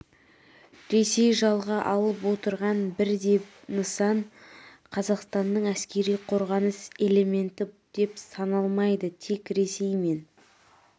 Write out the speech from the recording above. ресей жалға алып отырған бір де нысан қазақстанның әскери қорғаныс элементі деп саналмайды тек ресей мен